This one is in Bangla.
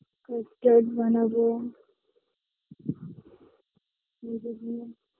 Fruit cake বানাবো youtube নিয়ে